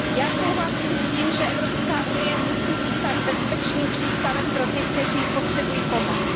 Já souhlasím s tím, že EU musí zůstat bezpečným přístavem pro ty, kteří potřebují pomoc.